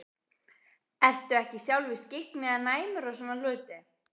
Ertu ekki sjálfur skyggn eða næmur á svona hluti?